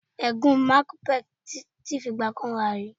Ègún macbeth ti fi ìgbà kan wà rí.